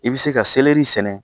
I bɛ se ka sɛnɛ